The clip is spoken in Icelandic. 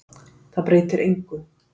Það breytir engu.